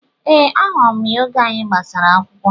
Ee, ahụrụ m ya oge anyị gbasara akwụkwọ